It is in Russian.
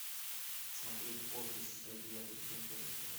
смотреть офис девятый сезон первая серия